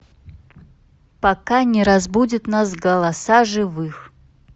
пока не разбудят нас голоса живых